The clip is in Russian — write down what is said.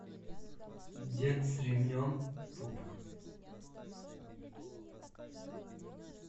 дед с ремнем пубг